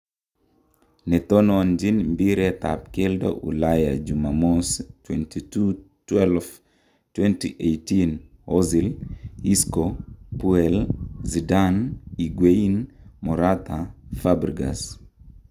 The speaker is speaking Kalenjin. Netononjin mbiiret ab keldo Ulaya Jumamosi 22.12.2018:Ozil, Isco, Puel, Zidane, Higuan, Morata, Fabregas.